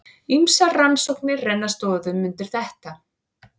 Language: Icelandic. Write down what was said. Ýmsar rannsóknir renna stoðum undir þetta.